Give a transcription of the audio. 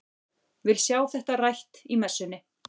Vil sjá þetta rætt í messunni!